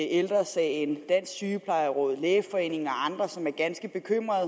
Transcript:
ældre sagen dansk sygeplejeråd lægeforeningen og andre som er ganske bekymrede